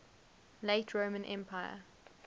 late roman empire